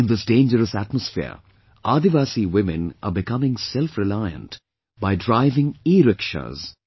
In this dangerous atmosphere, Adivasi women are becoming self reliant by driving erickshaws